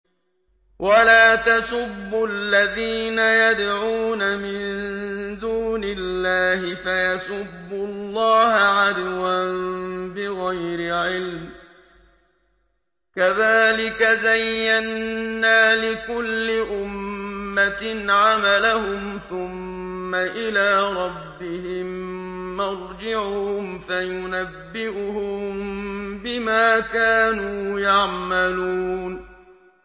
وَلَا تَسُبُّوا الَّذِينَ يَدْعُونَ مِن دُونِ اللَّهِ فَيَسُبُّوا اللَّهَ عَدْوًا بِغَيْرِ عِلْمٍ ۗ كَذَٰلِكَ زَيَّنَّا لِكُلِّ أُمَّةٍ عَمَلَهُمْ ثُمَّ إِلَىٰ رَبِّهِم مَّرْجِعُهُمْ فَيُنَبِّئُهُم بِمَا كَانُوا يَعْمَلُونَ